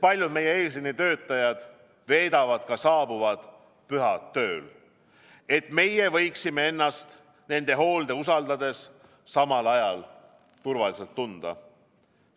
Paljud meie eesliinitöötajad veedavad saabuvad pühad tööl, et meie võiksime ennast nende hoolde usaldades samal ajal turvaliselt tunda.